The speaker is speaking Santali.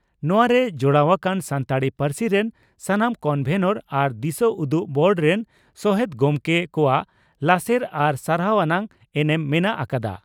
ᱱᱚᱣᱟ ᱨᱮ ᱡᱚᱲᱟᱣ ᱟᱠᱟᱱ ᱥᱟᱱᱛᱟᱲᱤ ᱯᱟᱹᱨᱥᱤ ᱨᱮᱱ ᱥᱟᱱᱟᱢ ᱠᱚᱱᱵᱷᱮᱱᱚᱨ ᱟᱨ ᱫᱤᱥᱟᱹᱩᱫᱩᱜ ᱵᱳᱨᱰ ᱨᱮᱱ ᱥᱚᱦᱮᱛ ᱜᱚᱢᱠᱮ ᱠᱚᱣᱟᱜ ᱞᱟᱥᱮᱨ ᱟᱨ ᱥᱟᱨᱦᱟᱣ ᱟᱱᱟᱜ ᱮᱱᱮᱢ ᱢᱮᱱᱟᱜ ᱟᱠᱟᱫᱼᱟ ᱾